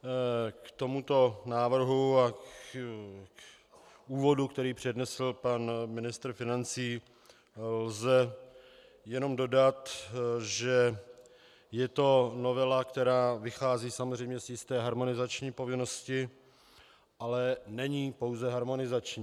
K tomuto návrhu a k úvodu, který přednesl pan ministr financí, lze jenom dodat, že je to novela, která vychází samozřejmě z jisté harmonizační povinnosti, ale není pouze harmonizační.